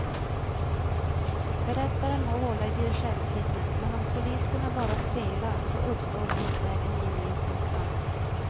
Berättaren må hålla i dirigentpinnen, men om solisterna bara spelar så uppstår likväl en gemensam klang.